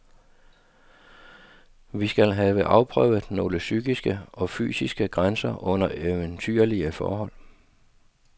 Vi skal have afprøvet nogle psykiske og fysiske grænser under eventyrlige forhold.